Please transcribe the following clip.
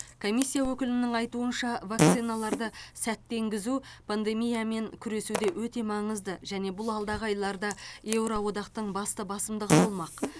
комиссия өкілінің айтуынша вакциналарды сәтті енгізу пандемиямен күресуде өте маңызды және бұл алдағы айларда еуро одақтың басты басымдығы болмақ